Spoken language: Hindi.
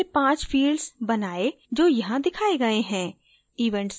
हमने पहले पाँच fields बनाएं जो यहाँ दिखाये गये हैं